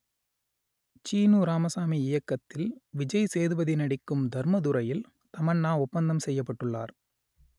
சீனு ராமசாமி இயக்கத்தில் விஜய் சேதுபதி நடிக்கும் தர்மதுரையில் தமன்னா ஒப்பந்தம் செய்யப்பட்டுள்ளார்